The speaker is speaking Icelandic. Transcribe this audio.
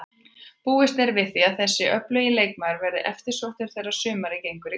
Búist er við því að þessi öflugi leikmaður verði eftirsóttur þegar sumarið gengur í garð.